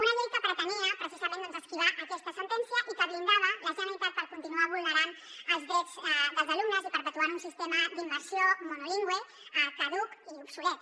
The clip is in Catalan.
una llei que pretenia precisament esquivar aquesta sentència i que blindava la generalitat per continuar vulnerant els drets dels alumnes i perpetuant un sistema d’immersió monolingüe caduc i obsolet